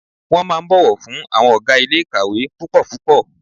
Wọ́n máa ń bọ̀wọ̀ fún àwọn ọ̀gá ilé ìkàwé púpọ̀ púpọ̀.